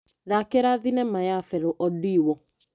Thakĩra thinema ya Felo Odĩwũ.